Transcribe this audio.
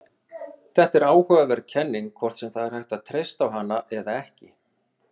Þetta er áhugaverð kenning, hvort sem það er hægt að treysta á hana eða ekki.